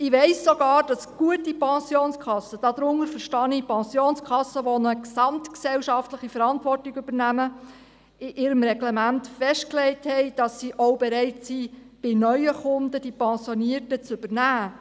Ich weiss sogar, dass gute Pensionskassen – darunter verstehe ich Pensionskassen, welche eine gesamtgesellschaftliche Verantwortung übernehmen – in ihrem Reglement festgelegt haben, dass sie auch bereit sind, bei neuen Kunden die Pensionierten zu übernehmen.